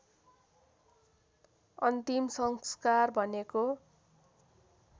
अन्तिम संस्कार भनेको